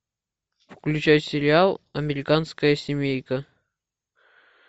включай сериал американская семейка